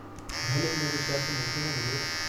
भले हिन जो शर्फ़ मूंखे न मिलियो।